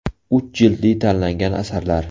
Uch jildli tanlangan asarlar.